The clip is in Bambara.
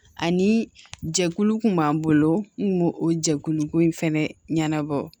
Ani jɛkulu kun b'an bolo n kun b'o o jɛkulu ko in fɛnɛ ɲɛnabɔ